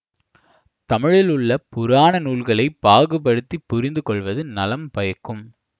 தமிழிலுள்ள புராண நூல்களை பாகுபடுத்திப் புரிந்துகொள்வது நலம் பயக்கும்